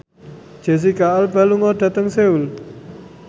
Jesicca Alba lunga dhateng Seoul